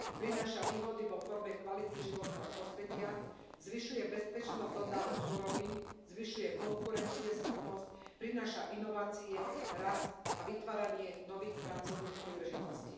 Prináša výhody vo forme kvality životného prostredia, zvyšuje bezpečnosť dodávok surovín, zvyšuje konkurencieschopnosť, prináša inovácie, rast a vytváranie nových pracovných príležitostí.